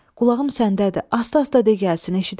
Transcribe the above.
Qulağım səndədir, asta-asta de gəlsin, eşidərəm.